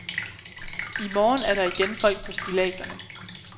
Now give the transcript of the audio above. I morgen er der igen folk på stilladserne.